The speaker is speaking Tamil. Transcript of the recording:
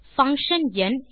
பங்ஷன் ந்